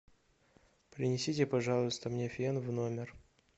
принесите пожалуйста мне фен в номер